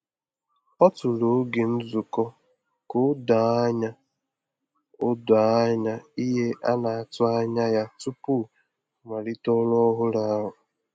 Ọ tụrụ oge nzukọ ka o doo anya o doo anya ihe a na-atụ anya ya tupu ọ malite ọrụ ọhụrụ ahụ.